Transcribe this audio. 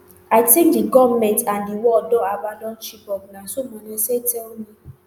i think di goment and di world don abandon chibok na so manasseh tell me